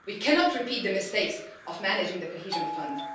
We cannot repeat the mistakes of managing the Cohesion Fund.